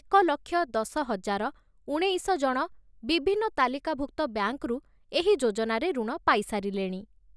ଏକ ଲକ୍ଷ ଦଶ ହଜାର ଉଣେଇଶ ଜଣ ବିଭିନ୍ନ ତାଲିକାଭୁକ୍ତ ବ୍ୟାଙ୍କରୁ ଏହି ଯୋଜନାରେ ଋଣ ପାଇସାରିଲେଣି ।